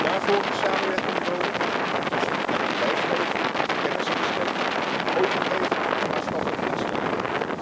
Daarvoor is samenwerking nodig tussen het bedrijfsleven, kennisinstellingen, overheden en maatschappelijke instellingen.